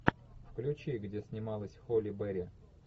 включи где снималась холли берри